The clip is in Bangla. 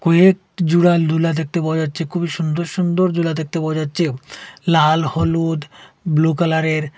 কুয়েত জুরা লুলা দেখতে পাওয়া যাচ্ছে খুবই সুন্দর সুন্দর জুলা দেখতে পাওয়া যাচ্ছে লাল হলুদ ব্লু কালারের।